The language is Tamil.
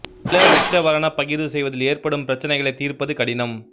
நில உச்சவரன பகிர்வு செய்வதில் ஏற்படும் பிரச்சினைகளைத் தீர்ப்பது கடினம்